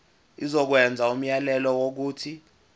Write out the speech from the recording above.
izokwenza umyalelo wokuthi